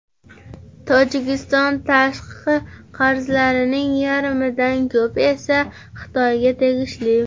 Tojikiston tashqi qarzlarining yarmidan ko‘pi esa Xitoyga tegishli.